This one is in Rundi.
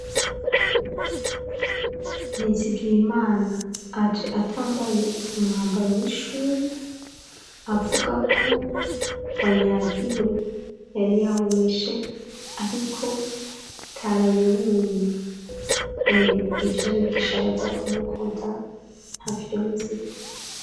Nizigiyimana aje atambaye umwambaro w'ishuri avuga ko wanyagiwe yari yawumeshe ariko utaraye wumye yemwe ivyo abigisha abaza kumukoda ntavyonzi.